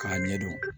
K'a ɲɛdɔn